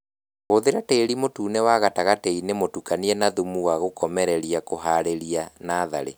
Hũthĩra tĩri mũtune wa gatagatiinĩ mũtukanie na thumu wa gũkomereria kũharĩria natharĩ